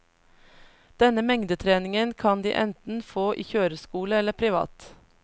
Denne mengdetreningen kan de enten få i kjøreskole eller privat.